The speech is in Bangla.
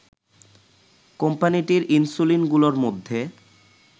কোম্পানিটির ইনসুলিনগুলোর মধ্যে